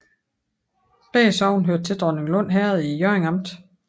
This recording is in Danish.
Begge sogne hørte til Dronninglund Herred i Hjørring Amt